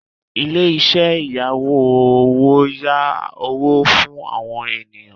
Ilé-iṣẹ́ ìyáwó owó ń yá owó fún àwọn ènìyàn.